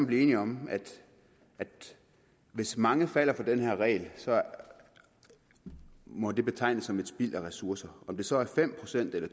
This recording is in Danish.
blive enige om at hvis mange falder for den her regel så må det betegnes som et spild af ressourcer om det så er fem procent eller